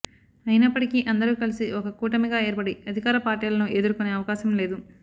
అయినప్పటికీ అందరూ కలిసి ఒక కూటమిగా ఏర్పడి అధికార పార్టీలను ఎదుర్కొనే అవకాశం లేదు